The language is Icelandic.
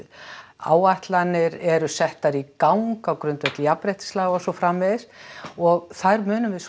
áætlanir eru settar í gang á grundvelli jafnréttislaga og svo framvegis og þær munum við svo